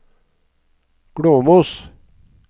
Glåmos